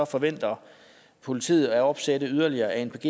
forventer politiet at opsætte yderligere anpg